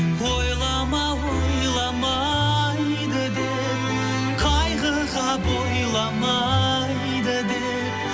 ойлама ойламайды деп қайғыға бойламайды деп